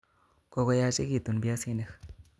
Kokoyachekitun biasi'nik